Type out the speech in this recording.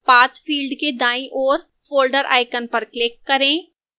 path field के दाईं ओर folder icon पर click करें